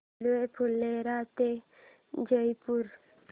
railway Phulera ते जयपूर